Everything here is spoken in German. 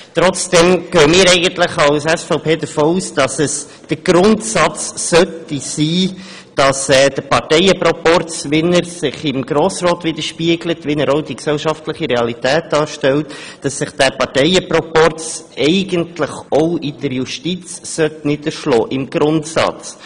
Trotzdem geht die SVP davon aus, dass sich der Parteienproporz, der sich im Grossen Rat widerspiegelt und auch die gesellschaftliche Realität darstellt, auch in der Justiz niederschlagen sollte.